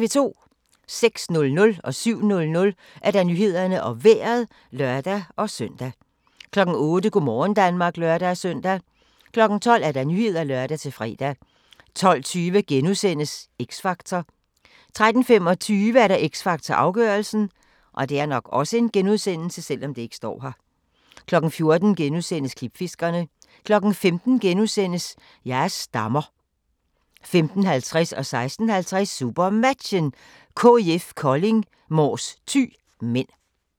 06:00: Nyhederne og Vejret (lør-søn) 07:00: Nyhederne og Vejret (lør-søn) 08:00: Go' morgen Danmark (lør-søn) 12:00: Nyhederne (lør-fre) 12:20: X Factor * 13:25: X Factor - afgørelsen 14:00: Klipfiskerne * 15:00: Jeg er stammer * 15:50: SuperMatchen: KIF Kolding - Mors-Thy (m) 16:50: SuperMatchen: KIF Kolding - Mors-Thy (m)